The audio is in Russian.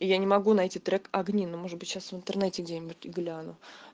и я не могу найти трек огни ну может быть сейчас в интернете где-нибудь гляну